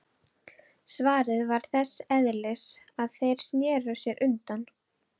Svarið var þess eðlis að þeir sneru sér undan.